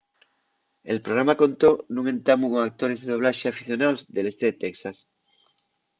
el programa contó nun entamu con actores de doblaxe aficionaos del este de texas